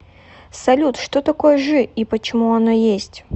салют что такое жи и почему оно есть